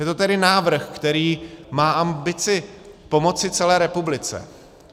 Je to tedy návrh, který má ambici pomoci celé republice.